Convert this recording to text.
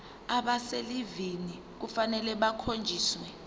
abaselivini kufanele bakhonjiswe